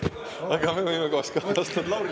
Aga me võime koos ka vastata.